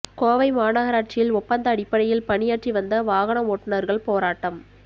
கோவை மாநகராட்சியில் ஒப்பந்த அடிப்படையில் பணியாற்றி வந்த வாகன ஓட்டுனர்கள் போராட்டம்